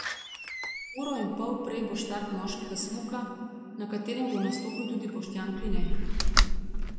Uro in pol prej bo štart moškega smuka, na katerem bo nastopil tudi Boštjan Kline.